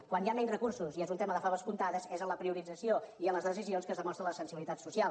quan hi ha menys recursos i és un tema de faves comptades és en la priorització i en les decisions que es demostra la sensibilització social